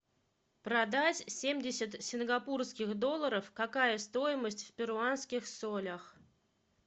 продать семьдесят сингапурских долларов какая стоимость в перуанских солях